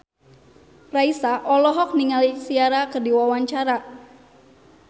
Raisa olohok ningali Ciara keur diwawancara